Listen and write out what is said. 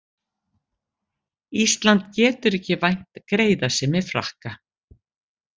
Ísland getur ekki vænt greiðasemi Frakka